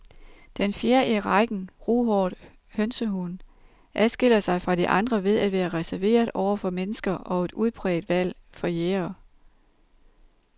Den fjerde i rækken, ruhåret hønsehund, adskiller sig fra de andre ved at være reserveret over for mennesker og et udpræget valg for jægere.